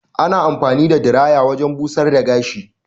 Ana anfani da diraya wajen busar da gashi.